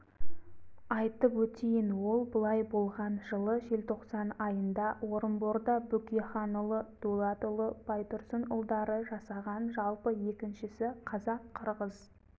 айтып өтейін ол былай болған жылы желтоқсан айында орынборда бөкейханұлы дулатұлы байтұрсынұлдары жасаған жалпы екіншісі қазақ-қырғыз